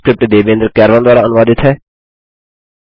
यह स्क्रिप्ट देवेन्द्र कैरवान द्वारा अनुवादित है